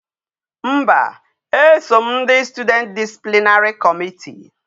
Mba e so m ndi student disciplinary committee